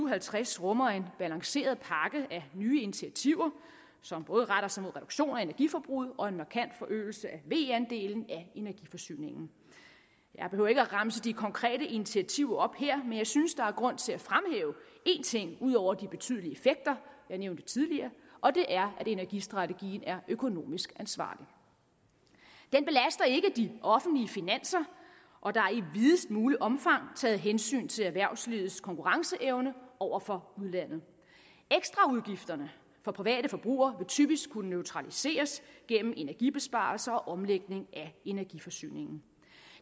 og halvtreds rummer en balanceret pakke af nye initiativer som både retter sig mod reduktion af energiforbruget og en markant forøgelse af ve andelen af energiforsyningen jeg behøver ikke at remse de konkrete initiativer op her men jeg synes der er grund til at fremhæve en ting ud over de betydelige effekter jeg nævnte tidligere og det er at energistrategien er økonomisk ansvarlig den belaster ikke de offentlige finanser og der er i videst muligt omfang taget hensyn til erhvervslivets konkurrenceevne over for udlandet ekstraudgifterne for private forbrugere vil typisk kunne neutraliseres gennem energibesparelser og omlægning af energiforsyningen